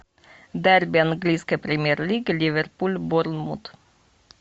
дерби английской премьер лиги ливерпуль борнмут